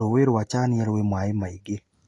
Ruuĩ rwa chania rwĩ maaĩ maingĩ